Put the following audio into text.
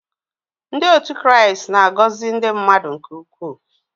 Ndị otu Kraịst na-agọzi ndị mmadụ nke ukwuu.